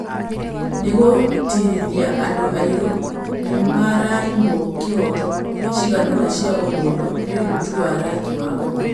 Nĩgũtĩtĩrithia andũ airũ nĩmaraimwo kĩhooto ciganona cia ũmũndũ nĩũndũ tu wa rangi wa ngothi